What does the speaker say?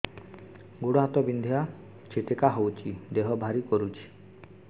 ଗୁଡ଼ ହାତ ବିନ୍ଧା ଛିଟିକା ହଉଚି ଦେହ ଭାରି କରୁଚି